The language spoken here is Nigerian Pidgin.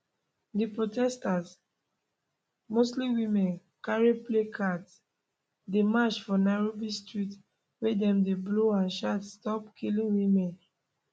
di protesters mostly women carry placards dey march for nairobi street wia dem dey blow and shout stop killing women